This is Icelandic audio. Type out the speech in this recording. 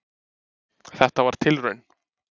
Þetta var tilraun.